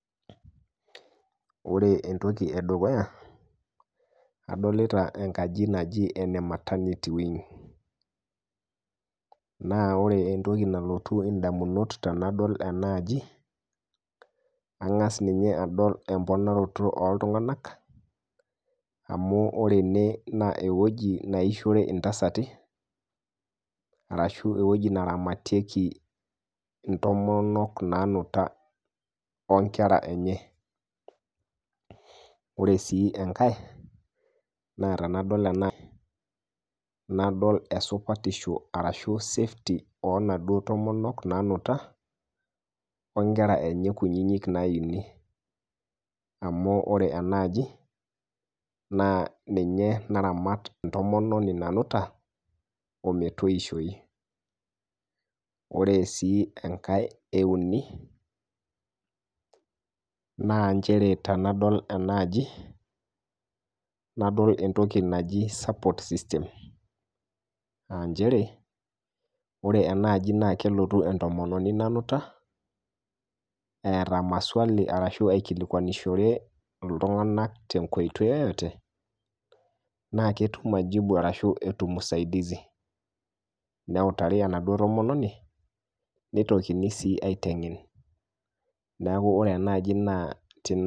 Ore entoki edukuya adolita enkaji najii ene maternity wing naaa ore entoki nalotu indamunot tenadol enaaji ang'as ninye adol emponaroto ooltunganak, amuu ore enee eweji naishore intasati arashu eweji naramatieki intomonok naanut oo inkera enye, ore sii enkae naa tenadol ena nadol esupatisho arashu safety oo naduo tomonok naanuta oo inkerra enye kuninik naini amu ore enaaji naa ninye naramat ntomoni nanuta ometoishoi, ore sii enkae euni naa inchere tenadool enaaji nadol entoki najii support system aa inchere ore enaaji naa kelotu entomononi nanuta eeta maswali arashu aikilikwanushore ltunganak te nkoitoi yeyote naa ketum majibu arashu etum usaidizi neutari enado tomononi neitokini sii aitengen, neaku ore enaaji naa